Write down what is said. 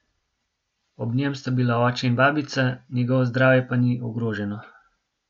Ob njem sta bila oče in babica, njegovo zdravje pa ni ogroženo.